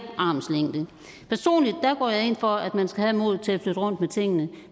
armslængde personligt går jeg ind for at man skal have modet til at flytte rundt med tingene